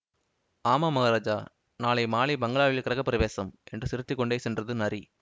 ஆமாம் மகராஜா நாளை மாலை பங்களாவில் கிருகப் பிரவேசம் என்று சிரித்து கொண்டு சென்றது நரி